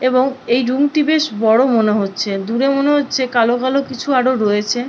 এবং এই রুম টি বেশ বড় মনে হচ্ছে দূরে মনে হচ্ছে কালো কালো কিছু আরও রয়েছে।